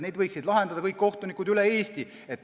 Neid võiksid lahendada kohtunikud üle Eesti.